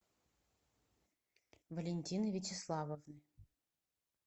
валентины вячеславовны